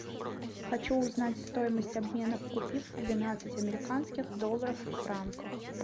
хочу узнать стоимость обмена купив двенадцать американских долларов в франках